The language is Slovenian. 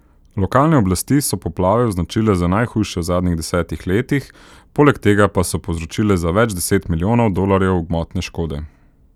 Lokalne oblasti so poplave označile za najhujše v zadnjih desetih letih, poleg tega pa so povzročile za več deset milijonov dolarjev gmotne škode.